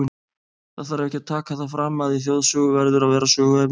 Það þarf ekki að taka það fram, að í þjóðsögu verður að vera söguefni.